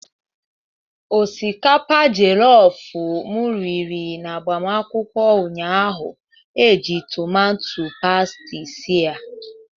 Osikapa jolofu m riri n'agbamakwụkwọ ụnyahụ e ji tumatus pasti sie ya.